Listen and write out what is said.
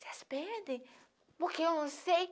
vocês pedem, porque eu não sei.